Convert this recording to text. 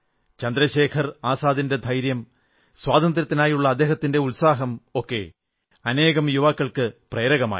ചന്ദ്രശേഖർ ആസാദിന്റെ ധൈര്യം സ്വാതന്ത്ര്യത്തിനായുള്ള അദ്ദേഹത്തിന്റെ ഉത്സാഹം ഒക്കെ അനേകം യുവാക്കൾക്കു പ്രേരകമായി